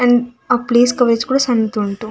And ಆ place coverage ಕೂಡ ಸಣ್ಣದುಂಟು.